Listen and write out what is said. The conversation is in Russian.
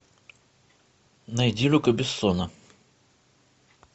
найди люка бессона